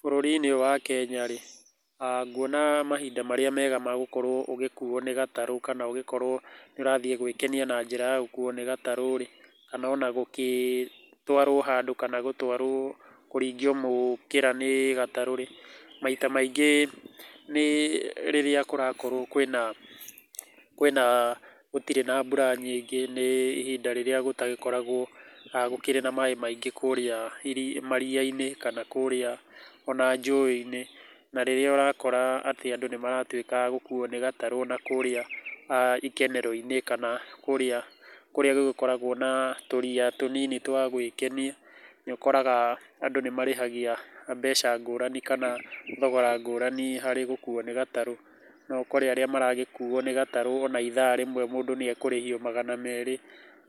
Bũrũri-inĩ ũyũ wa Kenya rĩ, nguona mahinda marĩa mega ma gũkorũo ũgĩkuo nĩ gatarũ ũgĩkorũo nĩ ũrathiĩ gwĩkenia na njĩra ya gũkuo nĩ gatarũ rĩ, kana ona gũgĩtwarwo handũ kana gũtwarwo kũringio mũkĩra nĩ gatarũ rĩ, maita maingĩ nĩ rĩrĩa kũrakorũo kwĩna gũtirĩ na mbura nyingĩ nĩ ihinda rĩrĩa gũtagĩkoragũo gũtirĩ na maĩ maingĩ kũrĩa maria-inĩ kana ona kũrĩa njũĩ-inĩ. Na rĩrĩa ũrakora atĩ andũ nĩ maratuĩka a gũkuo nĩ gatarũ ona kũrĩa ikenero-inĩ kũrĩa gũgĩkoragũo na tũriia tũnini twa gwĩkenia, nĩ ũkoraga andũ nĩ marĩhagia mbeca ngũrani kana thogora ngũrani harĩ gũkuo nĩ gatarũ. No ũkore arĩa maragĩkuo nĩ gatarũ ona ithaa rĩmwe mũndũ nĩ ekũrĩhio ona magana merĩ,